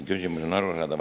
Küsimus on arusaadav.